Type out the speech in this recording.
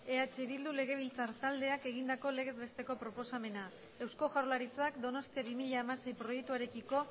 eh bildu legebiltzar taldeak egindako legez besteko proposamena eusko jaurlaritzak donostia bi mila hamasei proiektuarekiko